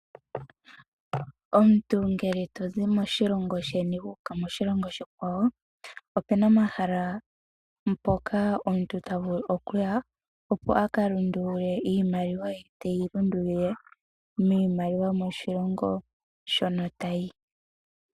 Omuntu ngele tozi moshilongo sheni wu uka moshilongo oshikwawo opuna omahala mpoka omuntu ta vulu okuya opo a ka lundulule iimaliwa ye teyi lundulile miimaliwa yomoshilongo shono tayi.